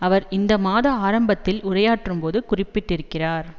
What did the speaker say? அவர் இந்த மாத ஆரம்பத்தில் உரையாற்றும்போது குறிப்பிட்டிருக்கிறார்